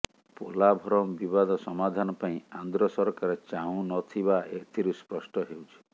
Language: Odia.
ପୋଲାଭରମ୍ ବିବାଦ ସମାଧାନ ପାଇଁ ଆନ୍ଧ୍ର ସରକାର ଚାହୁଁନଥିବା ଏଥିରୁ ସ୍ପଷ୍ଟ ହେଉଛି